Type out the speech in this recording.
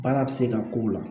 Baara bɛ se ka k'o la